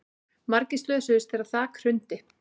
Margir slösuðust þegar þak hrundi